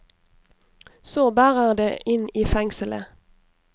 Så bærer det inn i fengselet.